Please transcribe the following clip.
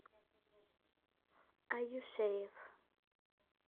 аюшеев